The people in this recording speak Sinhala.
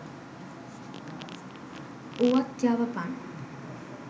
උවත් යවපන්